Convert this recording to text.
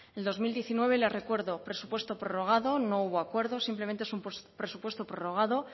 en dos mil diecinueve le recuerdo presupuesto prorrogado no hubo acuerdo simplemente es un presupuesto prorrogado